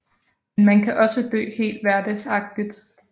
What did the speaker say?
Men man kan også dø helt hverdagsagtigt